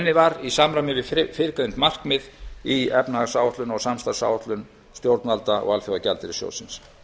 unnið var í samræmi við fyrrgreind markmið í efnahags og samstarfsáætlun stjórnvalda og alþjóðagjaldeyrissjóðsins